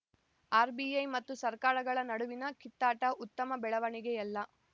RBI ಮತ್ತು ಸರ್ಕಾರಗಳ ನಡುವಿನ ಕಿತ್ತಾಟ ಉತ್ತಮ ಬೆಳವಣಿಗೆಯಲ್ಲ